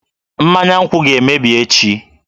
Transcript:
Mmanya nkwu ga-emebi echi